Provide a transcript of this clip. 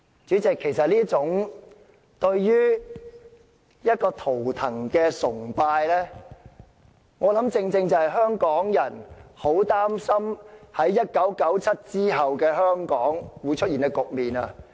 主席，這種對圖騰的崇拜，正是香港人很擔心1997年後會在香港出現的局面。